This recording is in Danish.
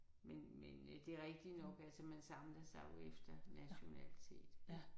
Men men det er rigtig nok altså man samler sig jo efter nationalitet